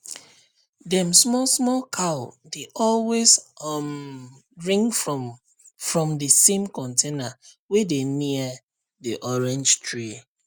dem small small cow dey always um drink from from the same container wey dey near the orange tree